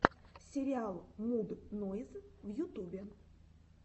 сериал муд нойз в ютубе